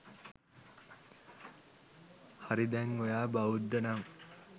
හරි දැන් ඔයා බෞද්ධ නං